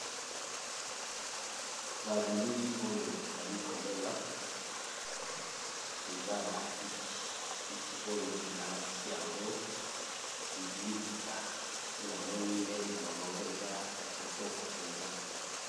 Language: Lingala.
Na bilili oyo nazali komona eza ba kiti balatisi yango liputa pe namoni meza nayango eza kitoko.